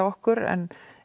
okkur en